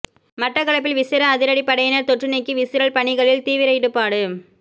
மட்டக்களப்பில் விசேட அதிரடிப் படையினர் தொற்றுநீக்கி விசிரல் பணிகளில் தீவிர ஈடுபாடு